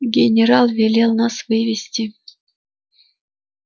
генерал велел нас вывести